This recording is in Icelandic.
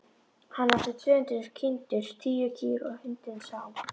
Hann átti tvö hundruð kindur, tíu kýr og hundinn Sám.